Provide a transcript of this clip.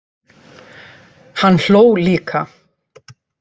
Hann hló líka.